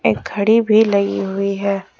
एक घड़ी भी लगी हुई है।